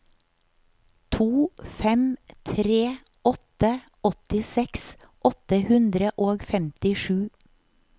to fem tre åtte åttiseks åtte hundre og femtisju